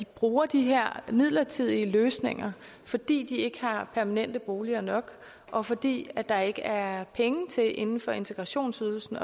bruger de her midlertidige løsninger fordi de ikke har permanente boliger nok og fordi der ikke er penge inden for integrationsydelsen